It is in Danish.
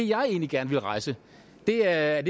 jeg egentlig gerne ville rejse er